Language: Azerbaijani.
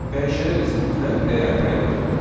Dəyişənə biz mütləq dəyər təyin etməliyik.